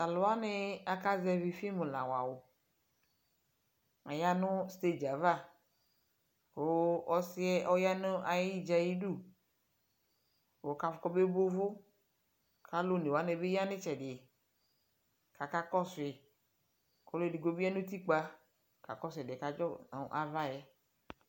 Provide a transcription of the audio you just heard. taluwani akasɛvi film lawawu atamiyanu stage ava ku ɔsiɛ ɔyanu ayijaidu kɔkafusukobuvu aluonewanibi yanu itsɛdi kakakusui ɔluɛ edigbo bi yanu utikpa kɔkakɔsu ɛdiɛkɔkadzo nu avaɛ